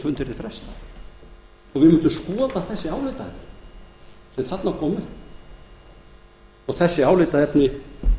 og við mundum skoða þau álitaefni sem þarna komu upp og álitaefnin